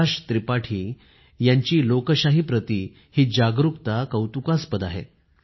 प्रकाश त्रिपाठी यांची लोकशाही प्रति हि जागरूकता कौतुकास्पद आहे